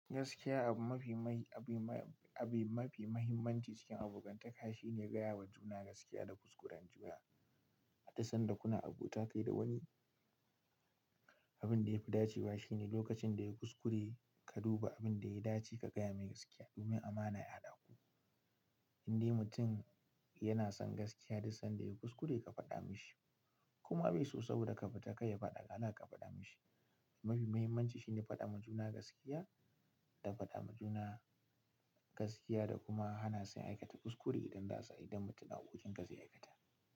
Gaskiya abu mafi mai, abu ma, abu mafi mahimmanci cikin abokantaka shine gaya wa juna gaskiya da kuskuren ji. A da san da kuna abota kai da wani, abin da yafi dacewa shine lokacin da ya kuskure ka duba abin da ya dace ka gaya mai gaskiya. Domin amana ya dawo. Indai mutum yana son gaskiya, duk sanda ya kuskure ka faɗa mishi. Kuma bai so saboda ka faɗa kai ya faɗa kala ka faɗa mishi. Mafi mahimmanci shine faɗa ma juna gaskiya da faɗa ma juna gaskiya da kuma hana sai aikata kuskure idan za su, idan mutum hakokin ka zai aikata.